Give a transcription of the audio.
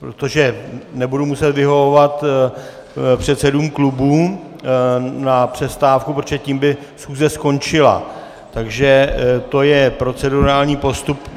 protože nebudu muset vyhovovat předsedům klubů na přestávku, protože tím by schůze skončila, takže to je procedurální postup.